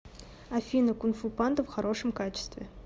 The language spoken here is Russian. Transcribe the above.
афина кунфу панда в хорошем качестве